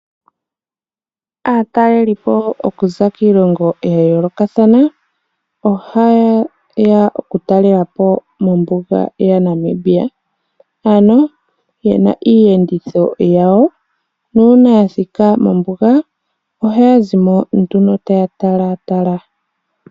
Aatalelipo okuza kiilongo ya yoolokathana, ohaye ya yatelele po mo ombuga yaNamibia. Ano ye na niiyenditho yawo, nuuna yathika mombuga ohaya zimo ano taya talatala.